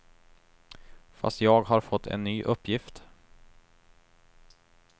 Fast jag har fått en ny uppgift.